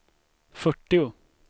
fyrtio